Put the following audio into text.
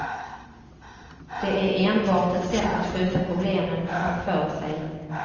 Det är enbart ett sätt att skjuta problemen framför sig.